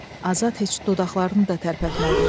Azad heç dodaqlarını da tərpətmədi.